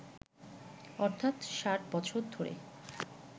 অর্থাৎ ৬০ বছর ধরে